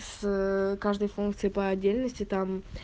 с каждой функцией по отдельности там